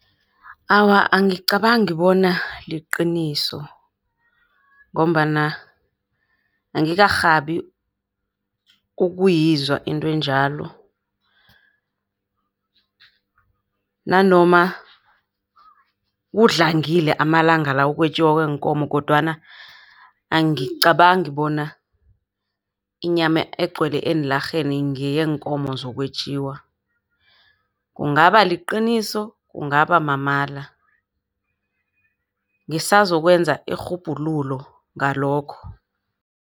Awa, angicabangi bona liqiniso, ngombana angikarhabi ukuyizwa into enjalo. Nanoma kudlangile amalanga la ukwetjiwa kweenkomo, kodwana angicabangi bona inyama egcwele eenlarheni ngeyeenkomo zokwetjiwa. Kungaba liqiniso, kungaba mamala. Ngisazokwenza irhubhululo ngalokho.